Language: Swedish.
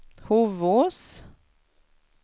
Hovås